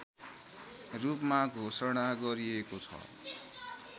रूपमा घोषणा गरिएको छ